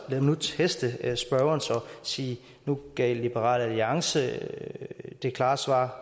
mig nu teste spørgeren så og sige at nu gav liberal alliance et klart svar